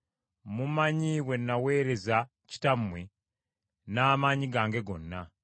Mumanyi bwe naweerea kitammwe n’amaanyi gange gonna.